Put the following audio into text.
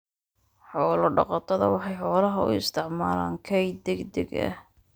Xoolo-dhaqatada waxay xoolaha u isticmaalaan kayd degdeg ah.